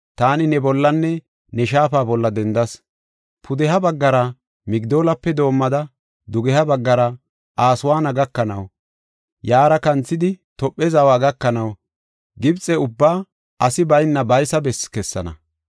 taani ne bollanne ne shaafa bolla dendas. Pudeha baggara Migdoolape doomada, dugeha baggara Aswaana gakanaw, yaara kanthidi Tophe zawa gakanaw Gibxe ubbaa asi bayna baysa besse kessana.